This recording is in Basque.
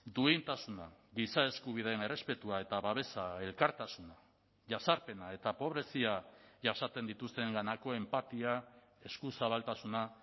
duintasuna giza eskubideen errespetua eta babesa elkartasuna jazarpena eta pobrezia jasaten dituztenganako enpatia eskuzabaltasuna